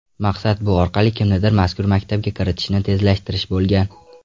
Maqsad - bu orqali kimnidir mazkur maktabga kiritishni tezlashtirish bo‘lgan.